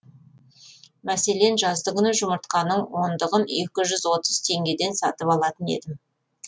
мәселен жаздыгүні жұмыртқаның ондығын екі жүз отыз теңгеден сатып алатын едім